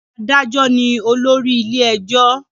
Adájo ní olórí ilé ẹjọ